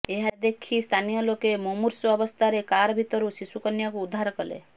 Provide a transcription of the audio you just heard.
ଏହାଦେଖି ସ୍ଥାନୀୟ ଲୋକେ ମୁମୂର୍ଷୁ ଅବସ୍ଥାରେ କାର୍ ଭିତରୁ ଶିଶୁ କନ୍ୟାକୁ ଉଦ୍ଧାର କଲେ